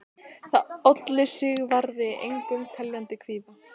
Það olli Sigvarði engum teljandi kvíða.